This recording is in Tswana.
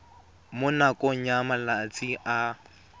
mo nakong ya malatsi a